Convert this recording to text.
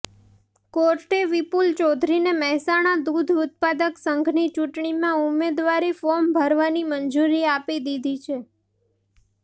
કોર્ટે વિપુલ ચૌધરીને મહેસાણા દૂધ ઉત્પાદક સંઘની ચૂંટણીમાં ઉમેદવારી ફોર્મ ભરવાની મંજૂરી આપી દીધી છે